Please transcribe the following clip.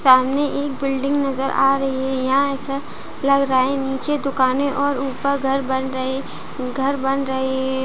सामने एक बिल्डिंग नज़र आ रही है यहाँ ऐसा लग रहा है नीचे दुकाने और ऊपर घर बन घर बन रहे है।